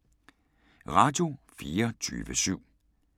Radio24syv